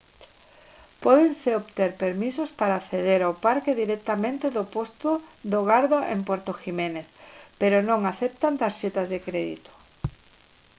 pódense obter permisos para acceder ao parque directamente do posto do garda en puerto jiménez pero non aceptan tarxetas de crédito